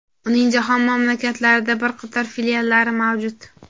Uning jahon mamlakatlarida bir qator filiallari mavjud.